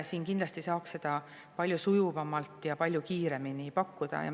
Siin saaks seda kindlasti palju sujuvamalt ja palju kiiremini pakkuda.